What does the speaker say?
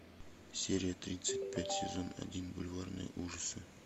серия тридцать пять сезон один бульварные ужасы